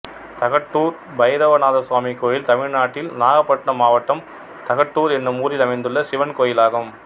தகட்டூர் பைரவநாதசுவாமி கோயில் தமிழ்நாட்டில் நாகப்பட்டினம் மாவட்டம் தகட்டூர் என்னும் ஊரில் அமைந்துள்ள சிவன் கோயிலாகும்